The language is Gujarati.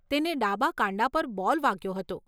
તેને ડાબા કાંડા પર બોલ વાગ્યો હતો.